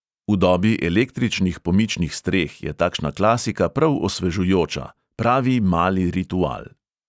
V dobi električnih pomičnih streh je takšna klasika prav osvežujoča, pravi mali ritual.